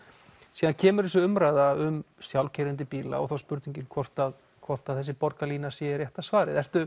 síðan kemur þessi umræða um sjálfkeyrandi bíla og þá er spurningin hvort hvort þessi borgarlína sé rétta svarið ertu